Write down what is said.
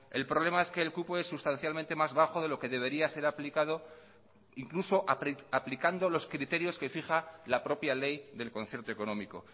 el problema es que el cupo es sustancialmente más bajo de lo que debería ser aplicado incluso aplicando los criterios que fija la propia ley del concierto económico